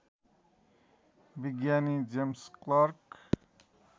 विज्ञानी James clerk